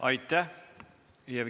Aitäh!